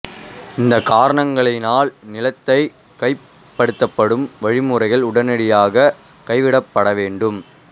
இந்த காரணங்களினால் நிலத்தை கையகப்படுத்தும் வழிமுறைகள் உடனடியாக கைவிடப்பட வேண்டும்